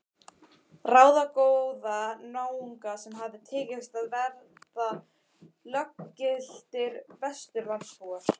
Ráðagóða náunga sem hafði tekist að verða löggiltir Vesturlandabúar.